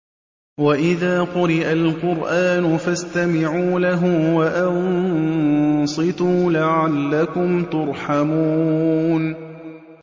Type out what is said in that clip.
وَإِذَا قُرِئَ الْقُرْآنُ فَاسْتَمِعُوا لَهُ وَأَنصِتُوا لَعَلَّكُمْ تُرْحَمُونَ